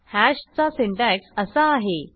हॅशचा syntax असा आहे